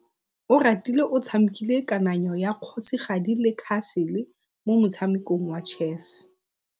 Oratile o tshamekile kananyô ya kgosigadi le khasêlê mo motshamekong wa chess.